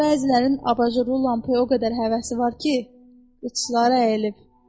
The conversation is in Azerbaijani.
Bəzilərinin abajurlu lampaya o qədər həvəsi var ki, qıçları əyilib.